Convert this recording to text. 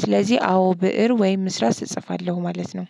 ስለዚህ አዎ ብእር ወይም እስራስ እጽፋለሁ ማለት ነው።